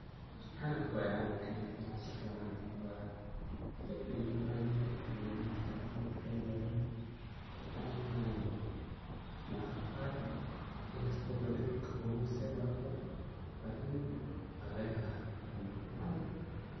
Canabka waye canabka .Waa inaad si fican aad uu cunto. Aad buu u macan yahay gadudka, mid ka kale oo madow aad ayey u macan yihin, mararka qaar inkasto badhi dhulkan qawow zaid loga helo lakini waa lagahela macan yahay.